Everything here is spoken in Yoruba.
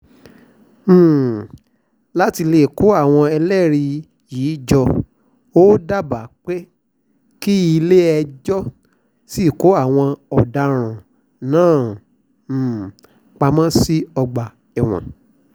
um láti lè kó àwọn ẹlẹ́rìí yìí jọ ó dábàá pé kílẹ̀-ẹjọ́ sì kó àwọn ọ̀daràn náà um pamọ́ sí ọgbà ẹ̀wọ̀n